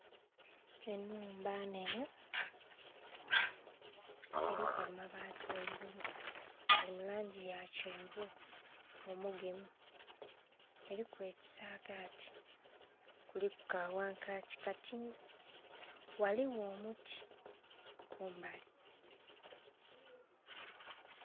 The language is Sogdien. Enhumba nhenhe, eliku amabaati ghaigulu. Gali mu langi ya kyenvu omugemu. Eliku ekisaagati, kuliku ka wankakyi katini. Ghaliwo omuti kumbali.